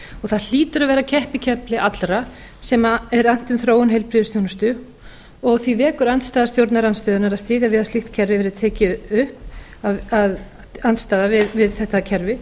það hlýtur að vera keppikefli allra sem er annt um þróun heilbrigðisþjónustu og því vekur andstaða stjórnarandstöðunnar að styðja við að slíkt kerfi atriði tekið upp andstaða við þetta kerfi